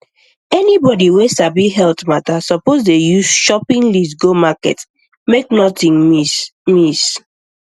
anybody wey sabi health matter suppose dey use shopping list go market make nothing miss miss